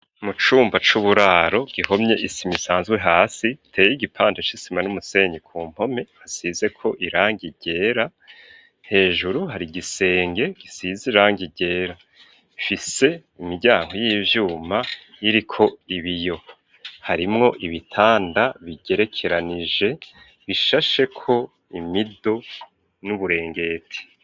Mu cumba c'uburaro gihomye isima isanzwe hasi teye igipanda c'isima, n'umusenyi ku mpome hasize ko irangi ryera, hejuru hari gisenge gisize irangi ryera, ifise imiryango y'ivyuma iriko ibiyo ,harimwo ibitanda bigerekeranije bishashe ko imido n'uburengeti.